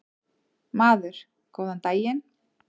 Maður: Góðan daginn.